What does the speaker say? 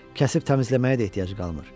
Kəsib təmizləməyə də ehtiyac qalmır.